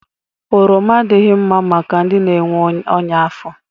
Oroma adịghị mma maka ndị na-enwe ọnya afọ.